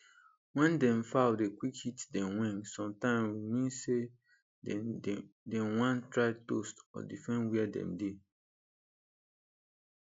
wen dem fowl dey quick hit dem wing sometime w mean say dey wan try toast or defend were dem dey